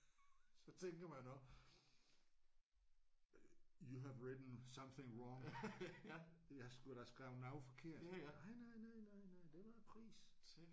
Så tænker man også you have written something wrong. I har sgu da skrevet noget forkert nej nej nej nej nej det var prisen